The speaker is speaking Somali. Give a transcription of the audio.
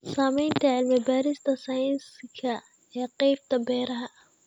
Saamaynta cilmi-baarista sayniska ee qaybta beeraha.